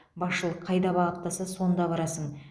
басшылық қайда бағыттаса сонда барасың